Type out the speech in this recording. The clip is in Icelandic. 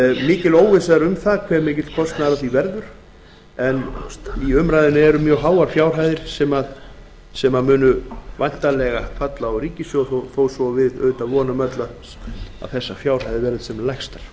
mikil óvissa er um hve mikill sá kostnaður verður hér er um að ræða gríðarlega háar fjárhæðir sem ríkissjóður þarf væntanlega að standa skil á þó að við vonum auðvitað öll að þessar fjárhæðir verði sem lægstar